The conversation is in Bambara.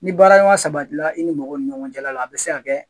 Ni baaraɲɔgɔnya sabati la i ni mɔgɔ ni ɲɔgɔn jala la a be se ka kɛ